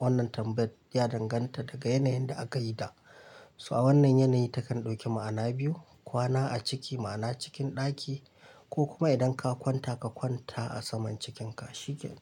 wannan tambayar ya danganta daga yanayin da aka yita. So a wannan yanayi takan ɗauki ma'ana biyu. Kwana a ciki ma'ana cikin ɗaki ko kuma idan ka kwanta ka kwanta a saman cikinka shikenan.